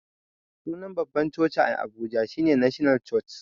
Sunan babban coci a abuja shine national church